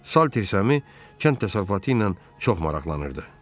Salter səmi kənd təsərrüfatı ilə çox maraqlanırdı.